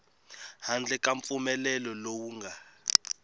handle ka mpfumelelo lowu nga